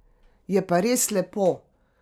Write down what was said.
Je pa res lepo.